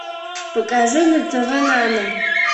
покажи на тв нано